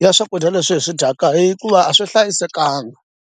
na swakudya leswi hi swi dyaka hikuva a swi hlayisekanga.